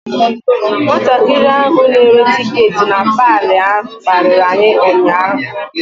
Nwatakịrị nwanyị ahụ na-ere tiketi na paalị ahụ kparịrị anyị ụnyaahụ.